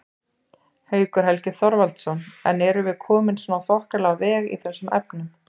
Haukur Helgi Þorvaldsson: En erum við komin svona þokkalega á veg í þessum efnum?